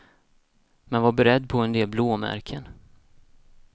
Men var beredd på en del blåmärken.